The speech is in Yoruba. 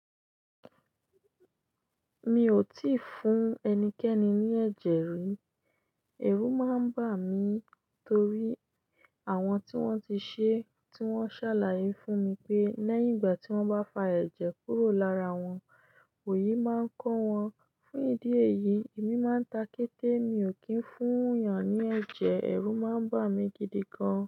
Mi ò tíì fún ẹnikẹ́ni ní ẹ̀jẹ̀ rí. Èrú máa ń bà mí torí àwọn tí wọ́n ti ṣe tí wọ́n ṣàlàyé fún mi pé lẹ́yìn ìgbà tí wọ́n bá fa ẹ̀jẹ̀ kúrò lára wọn, Ooyi máa ń kọ́ wọn. Fún ìdí èyí, èmi máa ń ta kéte. Mi ò kí ń fún yàn ní ẹ̀jẹ̀, èrú máa ń bà mí gidi gan.